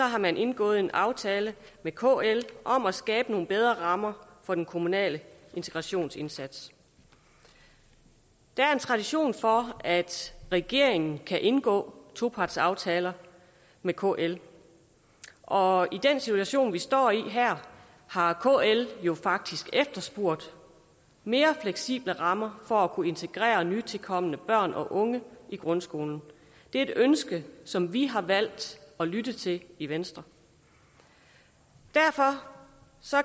har man indgået en aftale med kl om at skabe nogle bedre rammer for den kommunale integrationsindsats der er en tradition for at regeringen kan indgå topartsaftaler med kl og i den situation vi står i her har kl faktisk efterspurgt mere fleksible rammer for at kunne integrere nytilkomne børn og unge i grundskolen det er et ønske som vi har valgt at lytte til i venstre derfor